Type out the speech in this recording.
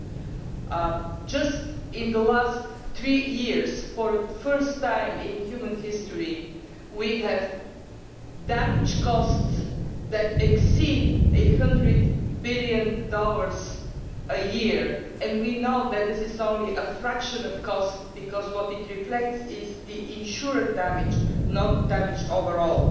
In just the last three years, for the first time in human history, we have damage costs that exceed USD 100 billion a year and we know that this is only a fraction of the costs because what it reflects is the insured damage, and not the damage overall.